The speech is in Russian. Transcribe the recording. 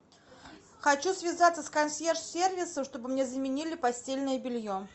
хочу связаться с консьерж сервисом чтобы мне заменили постельное белье